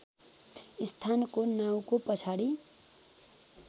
स्थानको नाउँको पछाडि